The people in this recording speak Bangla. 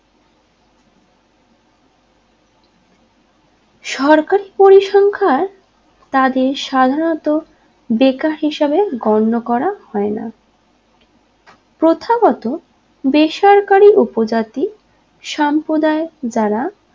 সরকারি পরিসংখ্যার তাদের সাধারণত বেকার হিসেবে গণ্য করা হয় না প্রথাগত বেসরকারি উপজাতি সম্প্রদায় যারা